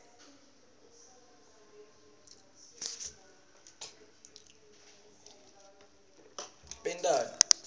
bomake bagcoka tidziya